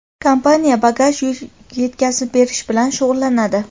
kompaniya bagaj (yuk) yetkazib berish bilan shug‘ullanadi.